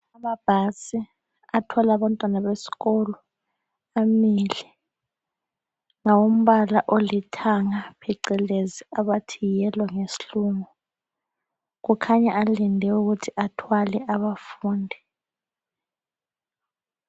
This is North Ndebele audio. Amabhasi athwala abantwana besikolo amile. Ngawombala olithanga phecelezi yellow ngesilungu. Kukhanya alinde ukuthi athwale abafundi.